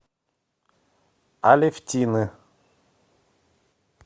алевтины